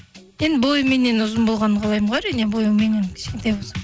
енді бойы меннен ұзын болғанын қалаймын ғой әрине бойы меннен кішкентай болса